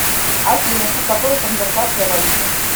афина что такое конвертация валюты